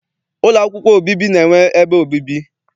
Ụlọ akwụkwọ obibi na-enwe ebe obibi.